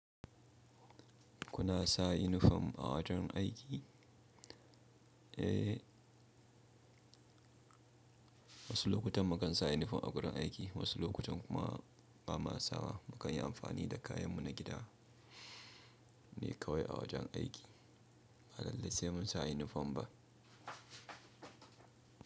Kuna sa inifom a wajen aiki? Eh, wasu lokutan mu kan sa inifom a gurun aiki, wasu lokutan kuma ba ma sa. Mu kan yi amfani da kayan mu na gida ne kawai a wajen aiki. Ba lallai sai mun sa inifom ba.